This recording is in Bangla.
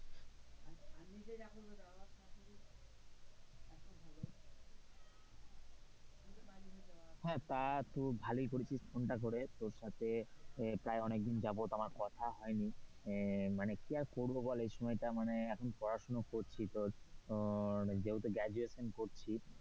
হ্যাঁ, তা তো তুই ভালোই করেছিস phone টা করে তোর সাথে প্রায় অনেকদিন যাবত আমার কথা হয়নি। হ্যাঁ মানে কি আর করব বল মানে এসময় টা এখন পড়াশোনা করছি তোর এখন যেহেতু graduation করছি।